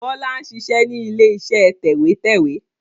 Bọlá ń ṣiṣẹ́ ni ilé iṣẹ́ tẹ̀wẹ́tẹ́wẹ́